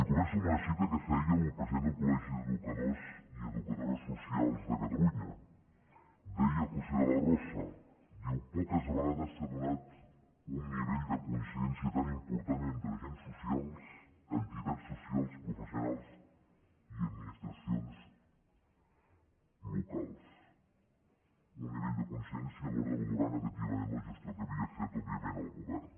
començo amb una cita que feia el president del collegi d’educadors i educadores socials de catalunya deia josé de la rosa diu poques vegades s’ha donat un nivell de coincidència tan important entre agents socials entitats socials professionals i administracions locals un nivell de coincidència a l’hora de valorar negativament la gestió que havia fet òbviament el govern